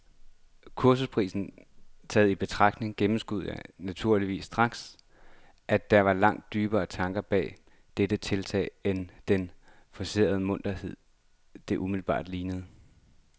Kursusprisen taget i betragtning gennemskuede jeg naturligvis straks, at der var langt dybere tanker bag dette tiltag end den forcerede munterhed, det umiddelbart lignede.